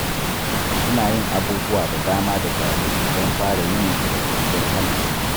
Suna yin abubuwa da dama da safe don fara yininsu da kwanciyar hankali.